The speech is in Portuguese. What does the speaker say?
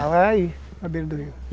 Passava, era aí, na beira do rio.